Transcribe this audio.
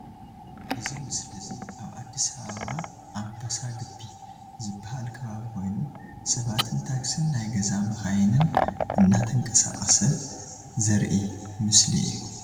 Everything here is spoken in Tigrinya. ዚ ምስሊ እዙይ አብ አዲስ አባበ አምበሳ ግቢ ዝበሃል ከባቢ ኮይኑ ሰባትን ታክስን ናይ ገዛ መካይንን እናተንቀሳቀሳ ዘርሂ ምስሊ እዩ ።